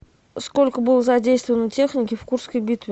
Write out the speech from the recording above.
сколько было задействовано техники в курской битве